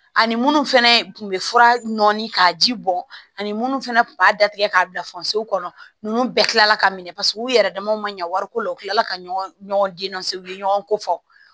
Ani munnu fɛnɛ kun bɛ fura nɔɔni k'a ji bɔn ani minnu fana tun b'a datigɛ k'a bila kɔnɔ ninnu bɛɛ tilala ka minɛ paseke u yɛrɛ damaw ma ɲɛ wariko la u tilala ka ɲɔgɔn denw so u ye ɲɔgɔn ko fɔ